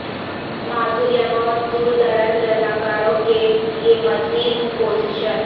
معذور یا بہت دور دراز رضاکاروں کے لئے مزید پوزیشن